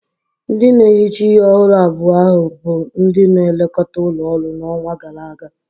Ndị na-ehicha ihe ọhụrụ abua ahu bụ ndị na-elekọta ụlọ ọrụ n'ọnwa gara aga.